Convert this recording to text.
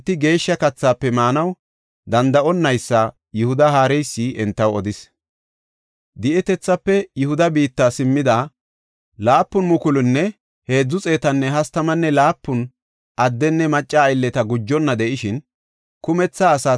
Di7etethaafe Yihuda biitta simmida 7,337 addenne macca aylleta gujonna de7ishin, kumetha asaa tayboy 42,360. Qassi entara 245 addenne macca zammaareti simmidosona.